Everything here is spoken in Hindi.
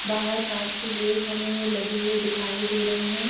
बाहर कांच के गेट हमें लगे हुए दिखाई दे रहे हैं।